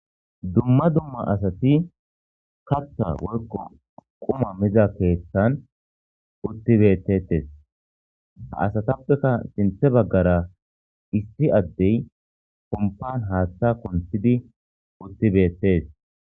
Dumma dumma asati katta woykko quma miza keeththan uttibettetes ha asatappeka sinthe baggara isti addey kompan haaththa konthidi uttibeettees.